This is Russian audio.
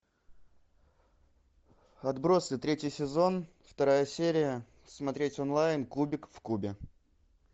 отбросы третий сезон вторая серия смотреть онлайн кубик в кубе